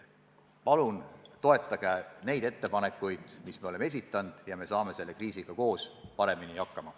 Palun toetage neid ettepanekuid, mis me oleme esitanud, ja me saame selle kriisiga koos paremini hakkama.